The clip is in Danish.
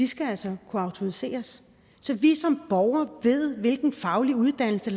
skal altså kunne autoriseres så vi som borgere ved hvilken faglig uddannelse